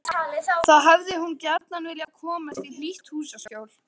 Þá hefði hún gjarna viljað komast í hlýtt húsaskjól.